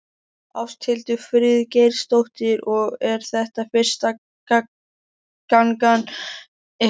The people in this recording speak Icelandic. Ásthildur Friðgeirsdóttir: Og er þetta fyrsta gangan ykkar?